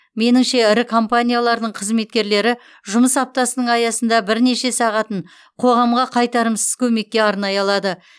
меніңше ірі компаниялардың қызметкерлері жұмыс аптасының аясында бірнеше сағатын қоғамға қайтарымсыз көмекке арнай алады